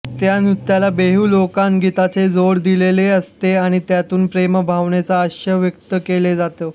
या नृत्याला बिहू लोकगीतांची जोड दिलेली असते आणि त्यातून प्रेमभावनेचा आशय व्यक्त केला जातो